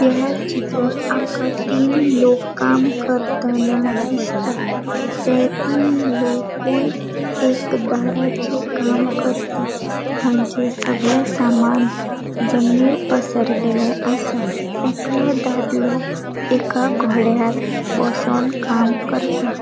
यहा चित्रात आमका तीन लोक काम करताना दिसता ते तीन लोकुय एक दाराचे काम करता तांचे सगळे सामान जमनिर पसरलेले आसा एकलों दादलों एका घोड्यार बोसोन काम करता.